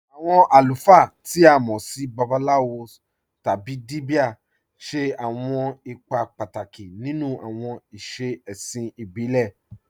Awọn alùfáà, tí a mọ́ sì Babaláwòs tábí Díbíà, ṣẹ̀ awọn ìpà pátákì nínú awọn ìṣẹ̀ è̩ṣìn ìbílẹ̀.